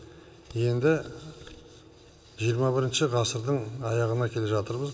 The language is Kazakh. енді жиырма бірінші ғасырдың аяғына келе жатырмыз